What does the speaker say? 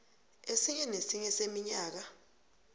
esinye nesinye seminyaka